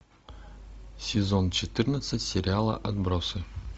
сезон четырнадцать сериала отбросы